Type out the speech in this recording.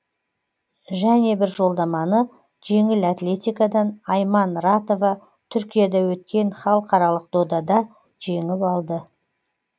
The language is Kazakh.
және бір жолдаманы жеңіл атлетикадан айман ратова түркияда өткен халықаралық додада жеңіп алды